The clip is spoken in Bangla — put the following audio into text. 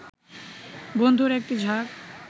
বন্ধুর একটি ঝাঁক